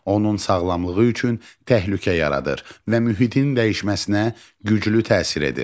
Onun sağlamlığı üçün təhlükə yaradır və mühitin dəyişməsinə güclü təsir edir.